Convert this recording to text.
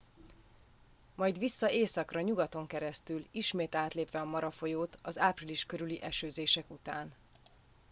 majd vissza északra nyugaton keresztül ismét átlépve a mara folyót az április körüli esőzések után